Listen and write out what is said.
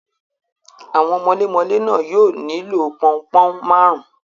Àwọn mọlémọlẹ́ náà yóò nílò pọn-un-pọ̀n máàrún.